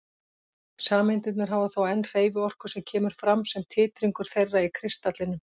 Sameindirnar hafa þó enn hreyfiorku sem kemur fram sem titringur þeirra í kristallinum.